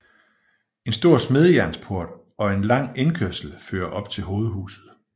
En stor smedejernsport og en lang indkørsel fører op til hovedhuset